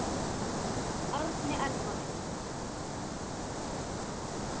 Árni Elvar.